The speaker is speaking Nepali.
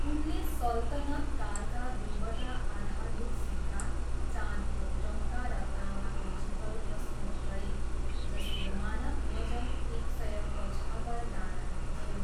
उनले सल्तनत कालका दुईवटा आधारभूत सिक्का, चाँदीको टङ्का र तामाको जितल प्रस्तुत गरे, जसको मानक वजन एक सय पचहत्तर दानाको थियो।